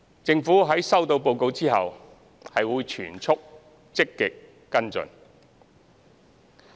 政府在收到報告後，會全速積極跟進。